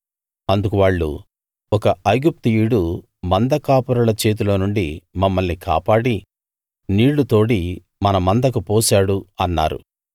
అందుకు వాళ్ళు ఒక ఐగుప్తీయుడు మంద కాపరుల చేతిలో నుండి మమ్మల్ని కాపాడి నీళ్లు తోడి మన మందకు పోశాడు అన్నారు